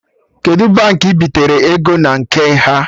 Kedụ Baankị ị bitere ego na nke ha?